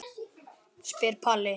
spyr Palli.